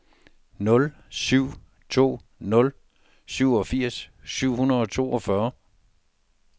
nul syv to nul syvogfirs syv hundrede og toogfyrre